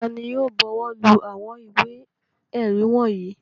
Ta ni yóò bọwọ́lù àwọn ìwé-ẹ̀rí wọ̀nyí?